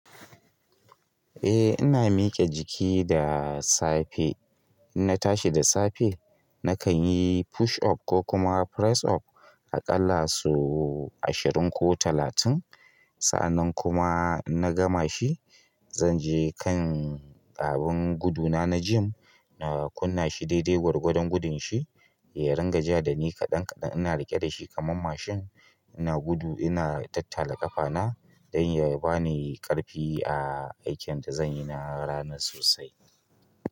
Eh ina mike jiki da safe. In na tashi da safe nakan yi push up ko kuma press up a ƙalla so ashirin ko talatin. Sa'annan kuma in na gama shi, zan je kan abin guduna na gym na kunna shi daidai gwargwadon gudun shi, ya ringa ja da ni kaɗan kaɗan ina riƙe da shi kaman mashin ina gudu ina tattala ƙafa na don ya bani ƙarfi a aikin da zan yi na ranar sosai.